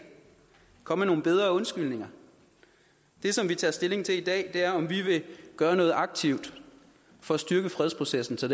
kom med nogle bedre undskyldninger det som vi tager stilling til i dag er om vi vil gøre noget aktivt for at styrke fredsprocessen så